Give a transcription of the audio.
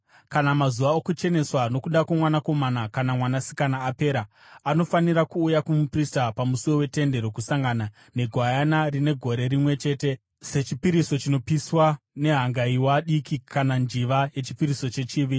“ ‘Kana mazuva okucheneswa nokuda kwomwanakomana kana mwanasikana apera, anofanira kuuya kumuprista pamusuo weTende Rokusangana, negwayana rine gore rimwe chete sechipiriso chinopiswa nehangaiwa diki kana njiva yechipiriso chechivi.